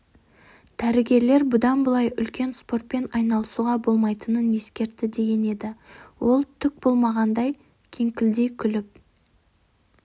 дәрігерлер бұдан былай үлкен спортпен айналысуға болмайтынын ескертті деген еді ол түк болмағандай кеңкілдей күліп